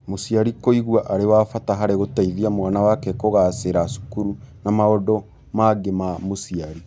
Mũciari kũigua arĩ wa bata harĩ gũteithia mwana wake kũgaacĩra cukuru na maũndũ mangĩ ma mũciari.